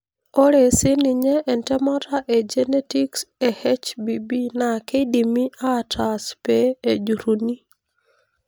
Ore sininye entemata e genetics e HBB naa kidimi atas pee ejuruni.